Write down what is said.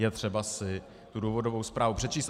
Je třeba si tu důvodovou zprávu předčíst.